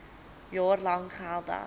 jaar lank geldig